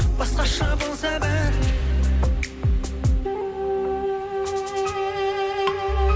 басқаша болса бәрі